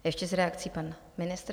Ještě s reakcí pan ministr.